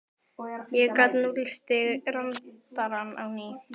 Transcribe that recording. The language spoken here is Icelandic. ég gat núllstillt radarinn á ný.